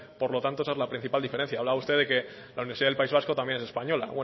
por lo tanto esa es la principal diferencia hablaba usted de que la universidad del país vasco también es española